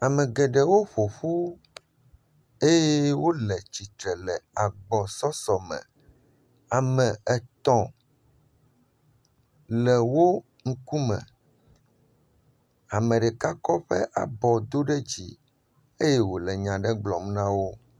Ame geɖewo woƒoƒu eye wo le tsitre le agbɔsɔsɔ me. Ame etɔ̃ le wo ŋku me. Ame ɖeka kɔ eƒe abɔ do ɖe dzi eye wo le nya aɖe gblɔm ana wo.